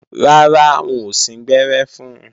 Rárá, wọn ò síngbẹ́rẹ́ fun